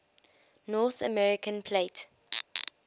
north american plate